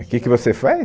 O que que você faz?